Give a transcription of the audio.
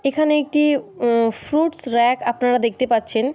এখানে একটি um fruits rack আপনারা দেখতে পাচ্ছেন।